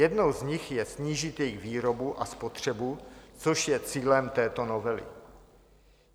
Jednou z nich je snížit jejich výrobu a spotřebu, což je cílem této novely.